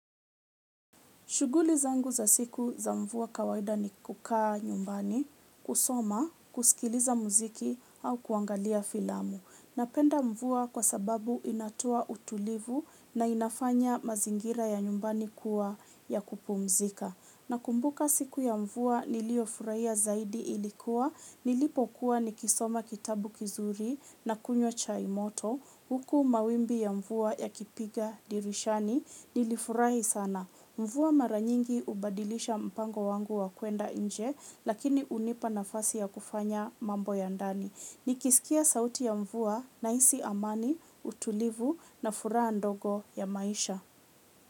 Shughuli zangu za siku za mvua kawaida ni kukaa nyumbani, kusoma, kusikiliza muziki au kuangalia filamu. Napenda mvua kwa sababu inatoa utulivu na inafanya mazingira ya nyumbani kuwa ya kupumzika. Nakumbuka siku ya mvua niliyofurahia zaidi ilikuwa, nilipokuwa nikisoma kitabu kizuri na kunywa chai moto, huku mawimbi ya mvua yakipiga dirishani, nilifurahi sana. Mvua mara nyingi hubadilisha mpango wangu wa kuenda nje, lakini hunipa nafasi ya kufanya mambo ya ndani. Nikisikia sauti ya mvua, nahisi amani, utulivu na furaha ndogo ya maisha.